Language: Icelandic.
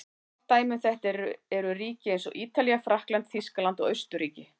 Gott dæmi um þetta eru ríki eins og Ítalía, Frakkland, Þýskaland og Austurríki.